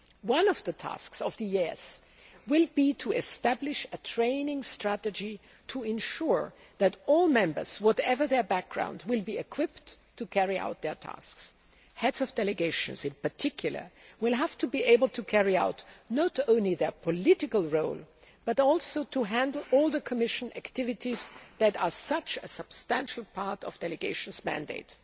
One of the tasks of the EEAS will be to establish a training strategy to ensure that all members, whatever their background, will be equipped to carry out their tasks. Heads of delegations, in particular, will have to be able not only to carry out their political role, but also to handle all the Commission activities that are such a substantial part of a delegation's mandate.